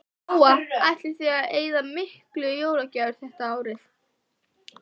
Lóa: Ætlið þið að eyða miklu í jólagjafir þetta árið?